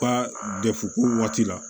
Ka dɛsɛ ko waati la